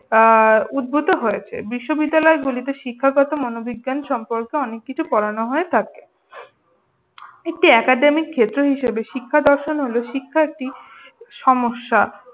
আহ উদ্ভূত হয়েছে বিশ্ববিদ্যালয়গুলিতে শিক্ষাগত মনোবিজ্ঞান সম্পর্কে অনেক কিছু পড়ানো হয়ে থাকে। একটি academic ক্ষেত্র হিসেবে শিক্ষা দর্শন হল শিক্ষার্থী সমস্যা।